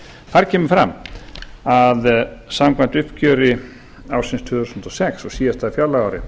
þar kemur fram að samkvæmt uppgjöri ársins tvö þúsund og sex og síðasta fjárlagaári